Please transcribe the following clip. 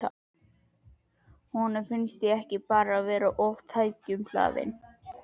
Finnst honum ég ekki bara vera of tækjum hlaðin?